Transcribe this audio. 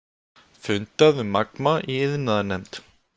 Fundað um Magma í iðnaðarnefnd